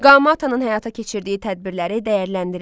Qamatanaın həyata keçirdiyi tədbirləri dəyərləndirin.